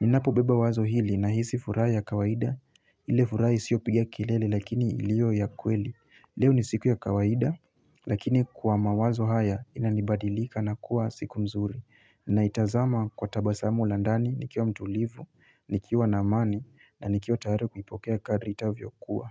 Ninapo beba wazo hili nahisi furaha ya kawaida ile furaha isiyopiga kilele lakini ilio ya kweli Leo ni siku ya kawaida lakini kwa mawazo haya inanibadilika na kuwa siku nzuri Naitazama kwa tabasamu la ndani nikiwa mtulivu, nikiwa na amani na nikiwa tayari kuipokea kadri itavyokuwa.